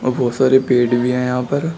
बहुत सारे पेड़ भी है यहां पर।